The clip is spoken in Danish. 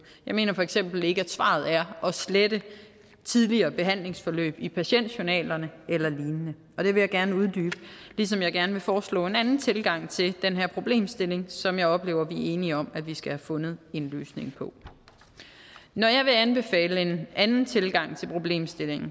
jeg mener for eksempel ikke at svaret er at slette tidligere behandlingsforløb i patientjournalerne eller lignende og det vil jeg gerne uddybe ligesom jeg gerne vil foreslå en anden tilgang til den her problemstilling som jeg oplever vi er enige om vi skal have fundet en løsning på når jeg vil anbefale en anden tilgang til problemstillingen